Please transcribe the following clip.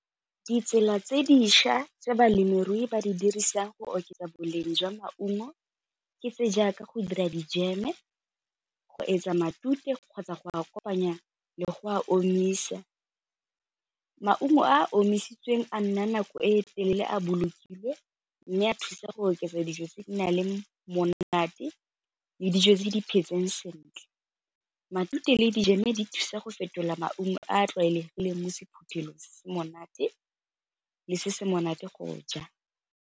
Ditsela tse dišwa tse balemirui ba di dirisang go oketsa boleng jwa maungo ke se jaaka go dira dijeme, go etsa matute kgotsa go kopanya le go a omisa. Maungo a a omisitsweng a nna nako e telele a bolokilwe mme a thusa go oketsa dijo tse di na le monate le dijo tse di phetseng sentle, matute le dijeme di thusa go fetola maungo a a tlwaelegileng mo sephuthelong se monate le se se monate go ja.